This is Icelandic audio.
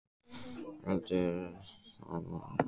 ÞORVALDUR: Það er rétt: þræðirnir sameinast í þessu húsi.